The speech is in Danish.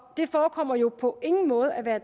det forekommer jo på ingen måde at være